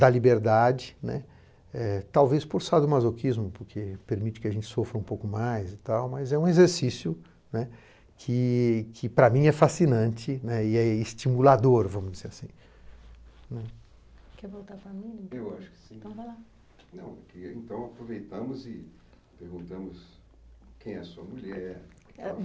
da liberdade, né, eh, talvez por sadomasoquismo, porque permite que a gente sofra um pouco mais e tal, mas é um exercício, né, que, que para mim é fascinante, né, e é estimulador, vamos dizer assim. Quer voltar falando? Eu acho que sim. Então vai lá. Não, queria então aproveitarmos e perguntamos quem é a sua mulher.